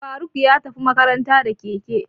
Faruk ya tafi makaranta da keke.